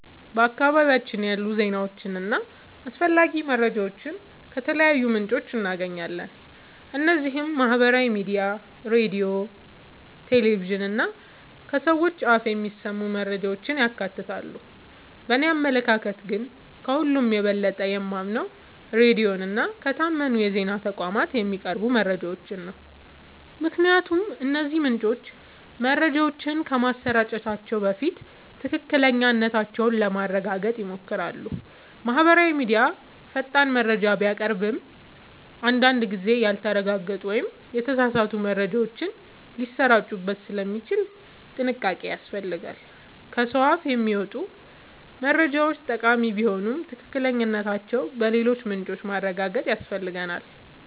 በአካባቢያችን ያሉ ዜናዎችንና አስፈላጊ መረጃዎችን ከተለያዩ ምንጮች እናገኛለን። እነዚህም ማህበራዊ ሚዲያ፣ ሬዲዮ፣ ቴሌቪዥን እና ከሰዎች አፍ የሚሰሙ መረጃዎችን ያካትታሉ። በእኔ አመለካከት ግን፣ ከሁሉ የበለጠ የማምነው ሬዲዮን እና ከታመኑ የዜና ተቋማት የሚቀርቡ መረጃዎችን ነው። ምክንያቱም እነዚህ ምንጮች መረጃዎችን ከማሰራጨታቸው በፊት ትክክለኛነታቸውን ለማረጋገጥ ይሞክራሉ። ማህበራዊ ሚዲያ ፈጣን መረጃ ቢያቀርብም፣ አንዳንድ ጊዜ ያልተረጋገጡ ወይም የተሳሳቱ መረጃዎች ሊሰራጩበት ስለሚችሉ ጥንቃቄ ያስፈልጋል። ከሰው አፍ የሚመጡ መረጃዎችም ጠቃሚ ቢሆኑ ትክክለኛነታቸውን በሌሎች ምንጮች ማረጋገጥ ያስፈልጋል።